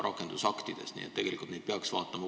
Nii et tegelikult peaks neid koos vaatama.